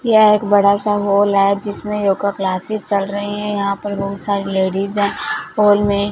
यह एक बड़ा सा हॉल है जिसमें योगा क्लासेस चल रही है यहां पर बहुत सारी लेडिज है हॉल में--